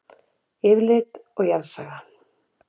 Yfirlit og jarðsaga.